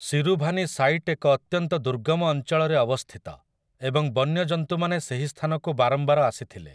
Siruvani site ଏକ ଅତ୍ୟନ୍ତ ଦୁର୍ଗମ ଅଞ୍ଚଳରେ ଅବସ୍ଥିତ ଏବଂ ବନ୍ୟ ଜନ୍ତୁମାନେ ସେହି ସ୍ଥାନକୁ ବାରମ୍ବାର ଆସିଥିଲେ ।